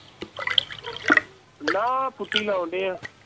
ਨਾ ਪੁੱਟੀ ਲਾਉਂਦੇ ਹੈ